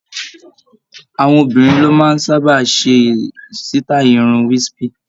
Àwọn obìnrin ló máa ń sábà ṣe sítáì irun Wispy